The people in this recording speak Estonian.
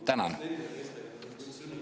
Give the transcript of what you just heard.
Tänan!